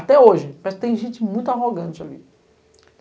Até hoje, parece que tem gente muito arrogante ali.